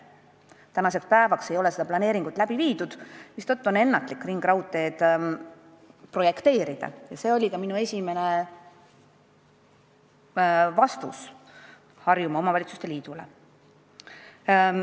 Tänaseks päevaks ei ole seda planeeringut läbi viidud, mistõttu on ennatlik ringraudteed projekteerida ja see oli ka minu esimene vastus Harjumaa Omavalitsuste Liidule.